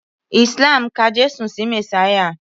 Islam ka Jésù sí Mèsáyà